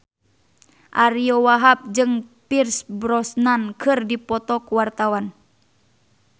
Ariyo Wahab jeung Pierce Brosnan keur dipoto ku wartawan